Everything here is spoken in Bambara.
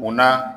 U na